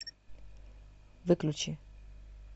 выключи